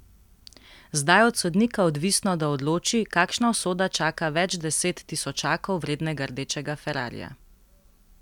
Zdaj je od sodnika odvisno, da odloči, kakšna usoda čaka več deset tisočakov vrednega rdečega ferrarija.